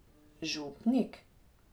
Župnik?